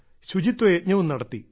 ശുചിത്വ യജ്ഞവും നടത്തി